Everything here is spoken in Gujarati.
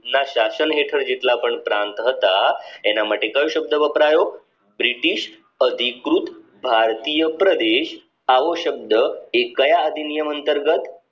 ના શાસન હેઠળ જેટલા પણ પ્રાંત હતા એના માટે કયો શબ્દ વપરાયો બ્રિટિશ અધિકૃત ભારતીય પ્રદેશ આવો શબ્દ એ કાયા અધિનિયમ અંતર્ગત